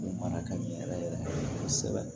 O mara ka ɲɛ yɛrɛ yɛrɛ kosɛbɛ